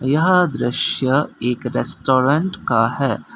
यह दृश्य एक रेस्टोरेंट का है।